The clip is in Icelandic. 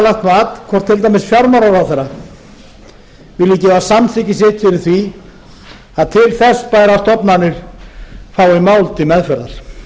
lagt mat hvort til dæmis fjármálaráðherra vilji gefa samþykki sitt fyrir því að til þess bærar stofnanir fái mál til meðferðar